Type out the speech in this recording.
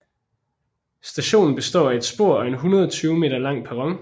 Stationen består af et spor og en 120 m lang perron